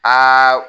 Aa